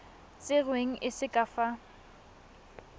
tserweng e se ka fa